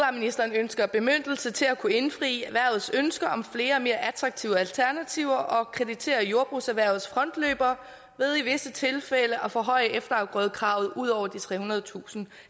ønsker bemyndigelse til at kunne indfri erhvervets ønsker om flere og mere attraktive alternativer og kreditere jordbrugserhvervets frontløbere ved i visse tilfælde at forhøje efterafgrødekravet ud over de trehundredetusind